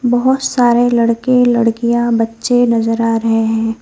बहुत सारे लड़के लड़कियां बच्चे नजर आ रहे हैं।